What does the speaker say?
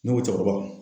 Ne ko cɛkɔrɔba